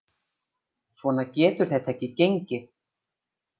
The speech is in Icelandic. Svona getur þetta ekki gengið.